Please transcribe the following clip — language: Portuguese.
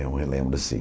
Eu relembro, assim.